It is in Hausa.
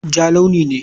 Ja launi ne.